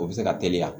O bɛ se ka teliya